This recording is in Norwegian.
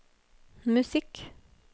musikk